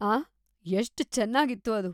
ಆಹ್!‌ ಎಷ್ಟ್‌ ಚೆನ್ನಾಗಿತ್ತು ಅದು.